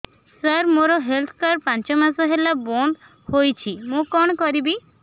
ସାର ମୋର health card ପାଞ୍ଚ ମାସ ହେଲା ବଂଦ ହୋଇଛି ମୁଁ କଣ କରିବି